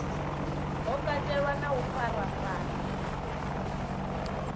ho katelwa na u farafarwa